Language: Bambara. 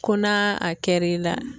Ko n'a a kɛr'i la.